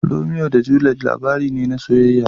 Romeo da Juliet labari ne na soyayya.